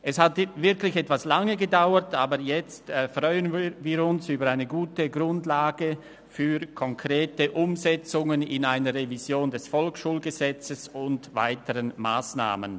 Es hat wirklich etwas lange gedauert, aber jetzt freuen wir uns über eine gute Grundlage für konkrete Umsetzungen in einer Revision des VSG und weitere Massnahmen.